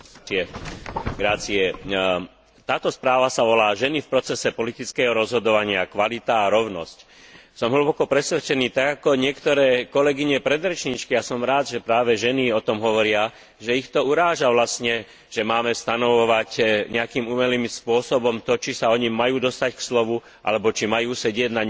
Táto správa má názov Ženy v procese politického rozhodovania kvalita a rovnosť. Som hlboko presvedčený tak ako niektoré kolegyne predrečníčky a som rád, že práve ženy o tom hovoria, že ich to vlastne uráža, že máme stanovovať nejakým umelým spôsobom to, či sa ony majú dostať k slovu, alebo či majú sedieť na niektorej veľmi významnej pozícii.